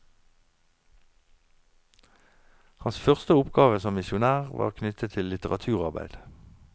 Hans første oppgave som misjonær var knyttet til litteraturarbeid.